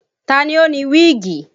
Ta ni ó ni wíìgì?